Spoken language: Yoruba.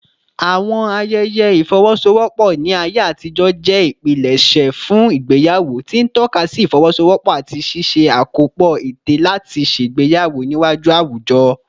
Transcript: Àwọn ayẹyẹ ìfọwọ́sowọ́pọ̀ ní ayé àtijọ́ jẹ́ ìpilẹ̀ṣẹ̀ fún ìgbéyàwó, tí ń tọ́ka sí ìfọwọ́sowọ́pọ̀ àti ṣíṣe àkópọ̀ ète láti ṣègbéyàwó níwájú àwùjọ.